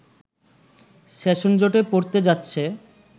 সেশনজটে পড়তে যাচ্ছে